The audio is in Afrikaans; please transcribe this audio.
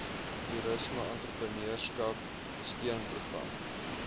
toerisme entrepreneurskap steunprogram